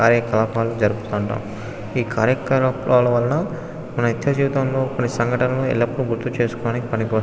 కార్యక్రపాలు జరుపుతుంటాం ఇ కార్యక్రపాల వల్లా మన నిత్య జీవితం లో కొన్ని సంఘటనలు యెల్లపుడు గుర్తుచేసుకొని పనికి --